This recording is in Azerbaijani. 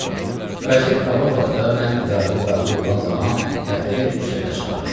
Qazet qabaq vaxtda mən idarəyə daxil olan zaman həftədə üç dəfə çıxırdı.